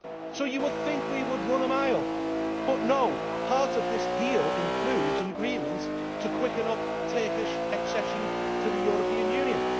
So you would think we would run a mile, but no, part of this deal includes an agreement to quicken up Turkish accession to the European Union.